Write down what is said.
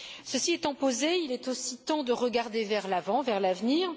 Ceci étant posé, il est aussi temps de regarder vers l'avant, vers l'avenir.